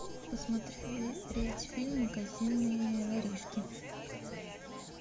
посмотреть фильм магазинные воришки